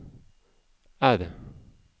R